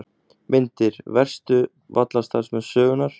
Myndir: Verstu vallarstarfsmenn sögunnar?